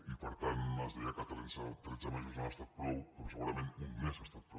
i per tant es deia que tretze mesos no han estat prou però segurament un mes ha estat prou